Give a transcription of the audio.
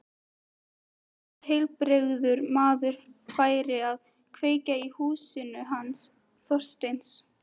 Hvaða heilbrigður maður færi að kveikja í húsinu hans Þorsteins?